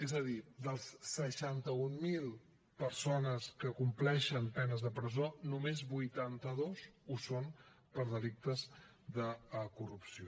és a dir de les seixanta mil persones que compleixen penes de presó només vuitanta dos ho són per delictes de corrupció